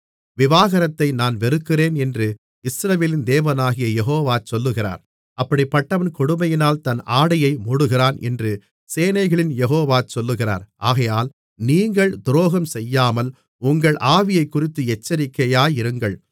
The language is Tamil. விவாகரத்தை நான் வெறுக்கிறேன் என்று இஸ்ரவேலின் தேவனாகிய யெகோவா சொல்லுகிறார் அப்படிப்பட்டவன் கொடுமையினால் தன் ஆடையை மூடுகிறான் என்று சேனைகளின் யெகோவா சொல்லுகிறார் ஆகையால் நீங்கள் துரோகம்செய்யாமல் உங்கள் ஆவியைக்குறித்து எச்சரிக்கையாயிருங்கள்